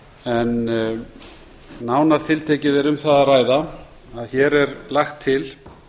en nánar tiltekið er um það að ræða að hér er lagt til